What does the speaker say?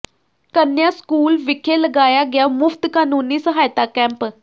ਕੰਨਿਆ school ਵਿਖੇ ਲਗਾਇਆ ਗਿਆ ਮੁਫ਼ਤ ਕਾਨੂੰਨੀ ਸਹਾਇਤਾ ਕੈਂਪ